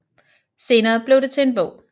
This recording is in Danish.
Senere blev det til en bog